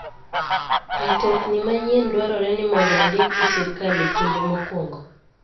Mtokni manyien dwarore ni mondo ondik gi sirkal e kinde mokwongo.